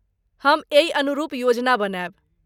हम एहि अनुरूप योजना बनायब।